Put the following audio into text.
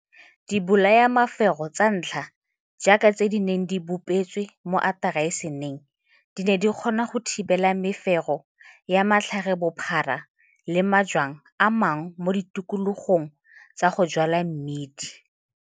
Dibolayamefero tsa ntlha jaaka tse di neng di bopetswe mo atarasining di ne di kgona go thibela mefero ya matlharebophara le majwang a mangwe mo ditikologong tsa go jwala mmidi.